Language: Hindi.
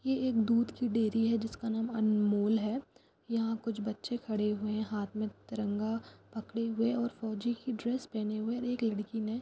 ये एक दूध की डेयरी है जिसका नाम अनमूल है यहा कुछ बच्चे खड़े हुए है हाथ मे तिरंगा पकड़े हुए और फोजी की ड्रेस पहने हुए और एक लड़की ने--